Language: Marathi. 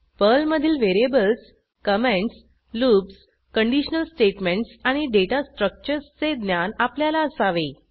पर्लमधील variables comments loops conditional statements आणि डेटा स्ट्रक्चर्सचे ज्ञान आपल्याला असावे